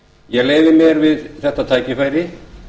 ég leyfi mér við þetta tækifæri